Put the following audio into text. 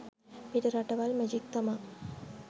පිටරටවල් magic තමා